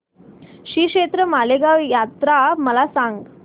श्रीक्षेत्र माळेगाव यात्रा मला सांग